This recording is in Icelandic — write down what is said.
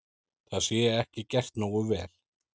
Það sé ekki gert nógu vel.